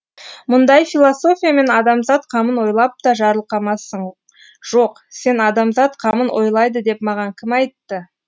мұндай философиямен адамзат қамын ойлап та жарылқамассың жоқ сен адамзат қамын ойлайды деп маған кім айтты